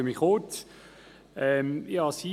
Jetzt kommen wir zur Detailberatung.